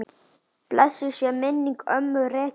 Blessuð sé minning ömmu Regínu.